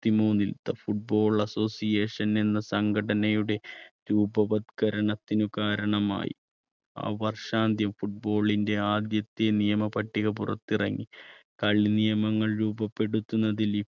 ത്തിമൂന്നിൽ football association എന്ന സംഘടനയുടെ രൂപവത്കരണത്തിന് കാരണമായി. ആ വർഷാന്ത്യം football ന്റെ ആദ്യത്തെ നിയമ പട്ടിക പുറത്തിറങ്ങി കളി നിയമങ്ങൾ രൂപപ്പെടുത്തുന്നതിൽ